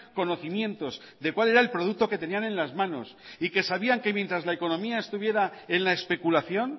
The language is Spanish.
conocimientos de cuál era el producto que tenían en las manos y que sabían que mientras la economía estuviera en la especulación